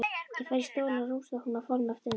Ég færi stólinn að rúmstokknum og fálma eftir hendi.